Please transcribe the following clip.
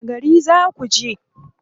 Wani gari za ku je?